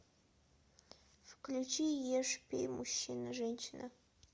включи ешь пей мужчина женщина